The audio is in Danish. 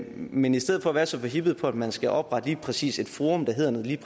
men i stedet for at være så forhippet på at man skal oprette lige præcis et forum der hedder noget helt